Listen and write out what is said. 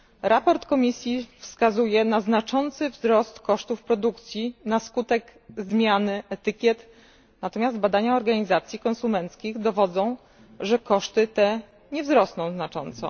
Raport Komisji wskazuje na znaczący wzrost kosztów produkcji na skutek zmiany etykiet, natomiast badania organizacji konsumenckich dowodzą, że koszty te nie wzrosną znacząco.